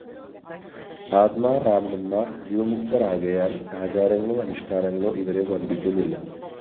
ആത്മാരാമന്മാര്‍ ജീവന്മുക്തരാകയാല്‍ ആചാരങ്ങളോ അനുഷ്ഠാനങ്ങളോ ഇവരെ ബന്ധിക്കുന്നില്ല